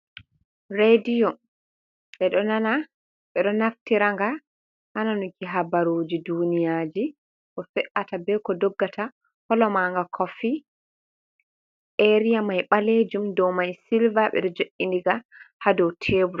Rediyo ɓeɗo nana, ɓeɗo naftiranga haa nanuki habaruji duniyaji ko fe’ata, be ko doggata, kolo manga kofi eriya mai ɓaleejum, do mai silva, ɓe ɗo jo'ininga haa doo teebur.